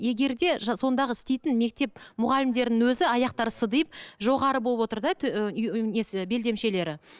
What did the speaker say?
егер де сондағы істейтін мектеп мұғалімдерінің өзі аяқтары сыдиып жоғары болып отыр да несі белдемшелері